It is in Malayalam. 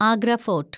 ആഗ്ര ഫോർട്ട്